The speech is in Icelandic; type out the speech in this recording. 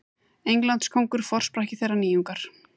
Englandskóngur forsprakki þeirrar nýjungar.